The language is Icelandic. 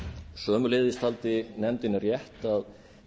sömuleiðis taldi nefndin rétt að